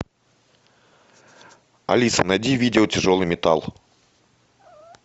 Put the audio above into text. алиса найди видео тяжелый металл